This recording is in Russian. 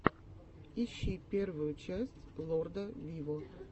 ищи первую часть лорда виво